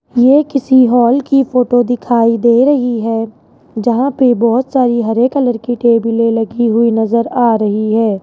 ये किसी हॉल की फोटो दिखाई दे रही है जहां पे बहुत सारी हरे कलर की टेबिलें लगी हुई नजर आ रही है।